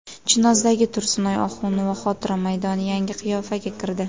Chinozdagi Tursunoy Oxunova xotira maydoni yangi qiyofaga kirdi .